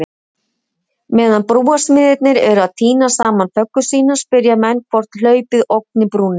Meðan brúarsmiðirnir eru að týna saman föggur sínar, spyrja menn hvort hlaupið ógni brúnni?